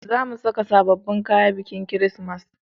Za mu saka sabobbin kaya a bikin kirismas